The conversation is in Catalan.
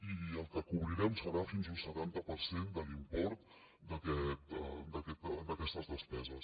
i el que cobrirem serà fins a un setanta per cent de l’import d’aquestes despeses